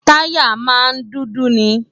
táyà máa n dúdú ni